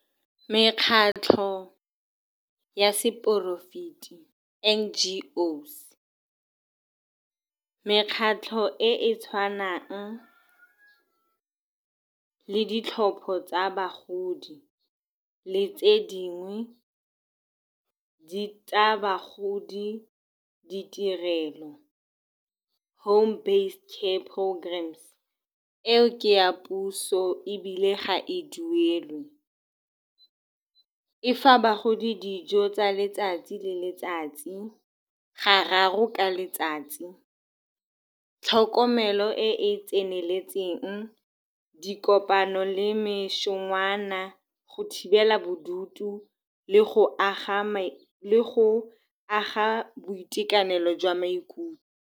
Mekgatlho ya seporofeta, N_G_O's, mekgatlho e e tshwanang le ditlhopho tsa bagodi le tse dingwe tsa bagodi, ditirelo, home-based care programs-e ka paul forms eo, ke ya puso ebile ga e duelwe. E fa bagodi dijo tsa letsatsi le letsatsi gararo ka letsatsi, tlhokomelo e e tseneletseng, dikopano le mešongwana, le go thibela bodutu le go aga, go aga boitekanelo jwa maikutlo.